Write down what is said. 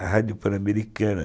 A Rádio Pan-Americana.